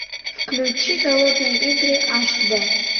включи голодные игры аш дэ